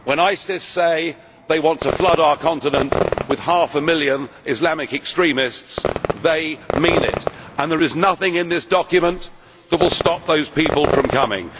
When ISIS say they want to flood our continent with half a million Islamic extremists, they mean it, and there is nothing in this document that will stop those people from coming.